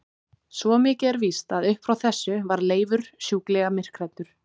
Svo mikið er víst að upp frá þessu varð Leifur sjúklega myrkhræddur.